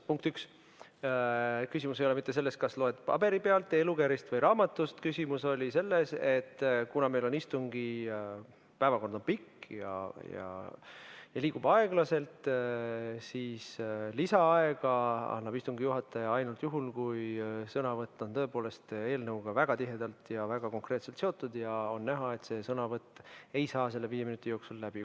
Punkt üks: küsimus ei ole mitte selles, kas loed paberi pealt, e‑lugerist või raamatust, küsimus oli selles, et kuna meil on istungi päevakord pikk ja liigub aeglaselt, siis lisaaega annab istungi juhataja ainult juhul, kui sõnavõtt on tõepoolest eelnõuga väga tihedalt ja väga konkreetselt seotud ning on näha, et sõnavõtt ei saa selle viie minuti jooksul läbi.